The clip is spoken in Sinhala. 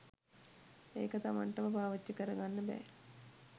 ඒක තමන්ටම පාවිච්චි කරගන්න බෑ.